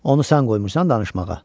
Onu sən qoymusan danışmağa?